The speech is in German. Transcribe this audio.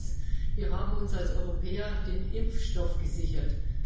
Erstens Wir haben uns als Europäer den Impfstoff gesichert.